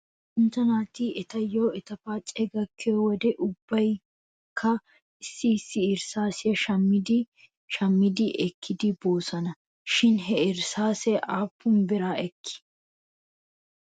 Luxanchcha naati etayyo eta paacee gakkiyoo wodiyan ubbaykka issi issi irssaasiyaa shammi shammidi ekidi boosona shin he irsaasee aappun bira ekkii?